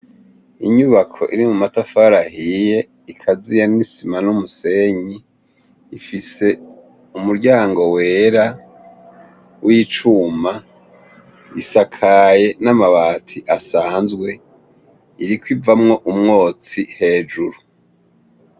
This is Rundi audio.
Inyubako iri mu matafari ahiye ikaziya n'isima n'umusenyi, ifise umuryango wera w'icuma, risakaye n'amabati asanzwe, iriko ivamwo umwotsi hejuru.